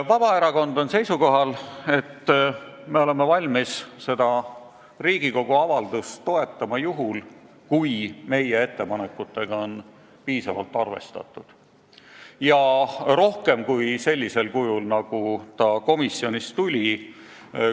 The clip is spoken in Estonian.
Vabaerakond on seisukohal, et me oleme valmis seda Riigikogu avaldust toetama juhul, kui meie ettepanekutega piisavalt arvestatakse – rohkem kui seda komisjonis tehti.